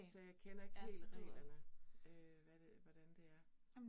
Så jeg kender ikke helt reglerne øh hvad det, hvordan det er